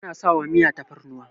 ana sawa Miya fatarnuwa